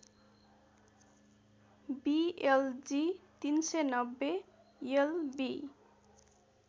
बिएलजि ३९० LB